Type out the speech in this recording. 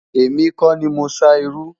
èmi kò ní mọ sá iru